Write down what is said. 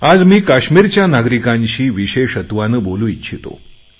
आज मी काश्मीरच्या नागरिकांशी विशेषत्वाने बोलू इच्छितो